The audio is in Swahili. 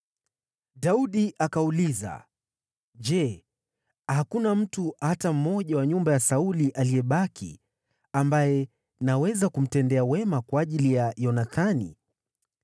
Daudi akauliza, “Je, hakuna mtu hata mmoja wa nyumba ya Sauli aliyebaki ambaye naweza kumtendea wema kwa ajili ya Yonathani?”